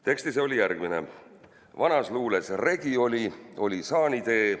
Tekst ise on järgmine: "Vanas luules regi oli, oli saanitee.